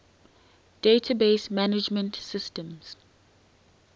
database management systems